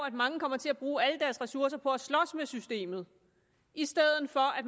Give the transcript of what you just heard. at mange kommer til at bruge alle deres ressourcer på at slås med systemet i stedet for at